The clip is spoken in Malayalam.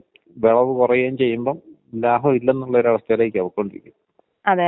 ഈ വാതത്തിന്‍റെ പ്രശ്നം എന്ന് പറയൂല്ലേടി, അതും ഈ കാലാവസ്ഥ കൊണ്ട് വരണ ഒരു രോഗം അല്ലേ?